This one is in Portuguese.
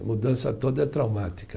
A mudança toda é traumática.